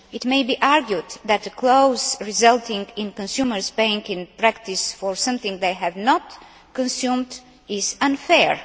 It may be argued that a clause resulting in consumers paying in practice for something they have not consumed is unfair.